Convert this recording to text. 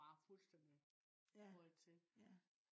der var bare fuldstændig røget til